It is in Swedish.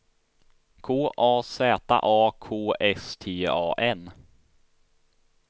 K A Z A K S T A N